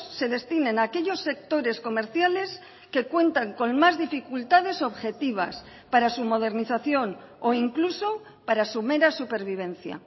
se destinen a aquellos sectores comerciales que cuentan con más dificultades objetivas para su modernización o incluso para su mera supervivencia